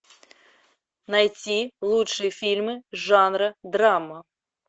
найти лучшие фильмы жанра драма